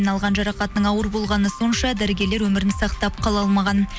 алған жарақатының ауыр болғаны сонша дәрігерлер өмірін сақтап қала алмаған